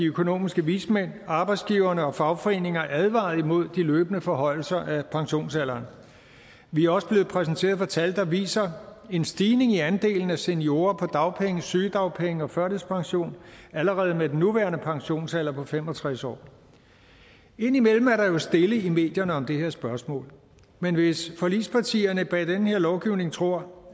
økonomiske vismænd arbejdsgiverne og fagforeninger advaret imod de løbende forhøjelser af pensionsalderen vi er også blevet præsenteret for tal der viser en stigning i andelen af seniorer på dagpenge sygedagpenge og førtidspension allerede med den nuværende pensionsalder på fem og tres år indimellem er der jo stille i medierne om det her spørgsmål men hvis forligspartierne bag den her lovgivning tror